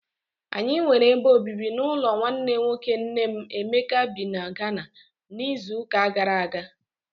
Anyị nwere ebe obibi n'ụlọ nwanne nwoke nne m Emeka bị na Ghana n'izuụka gara aga.